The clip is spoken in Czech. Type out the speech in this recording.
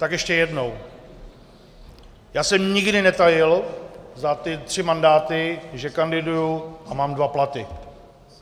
Tak ještě jednou, já jsem nikdy netajil za ty tři mandáty, že kandiduji a mám dva platy.